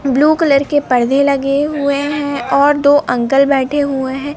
Blue colour के पर्दे लगे हुएं हैं और दो अंकल बैठे हुए हैं।